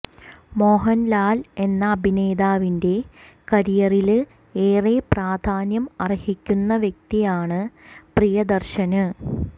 മോഹന്ലാല് എന്ന അഭിനേതാവിന്റെ കരിയറില് ഏറെ പ്രാധാന്യം അര്ഹിക്കുന്ന വ്യക്തിയാണ് പ്രിയദര്ശന്